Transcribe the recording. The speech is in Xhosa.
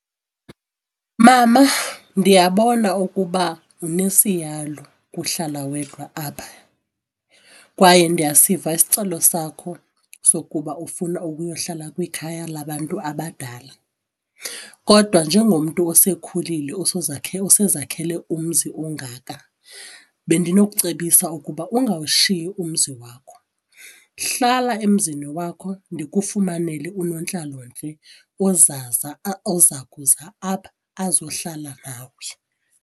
Mama, ndiyabona ukuba unesiyalu kuhlala wedwa apha kwaye ndiyasiva isicelo sakho sokuba ufuna ukuyohlala kwikhaya labantu abadala. Kodwa njengomntu osekhulile osezakhele umzi ongaka, bendinocebisa ukuba ungawushiyi umzi wakho, hlala emzini wakho ndikufumanele unontlalontle oza kuza apha azohlala nawe.